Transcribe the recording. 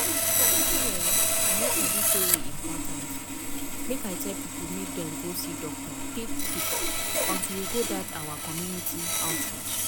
true[um]i no sabi say e important make i tell people make dem go see doctor quick quick until we go dat our community outreach.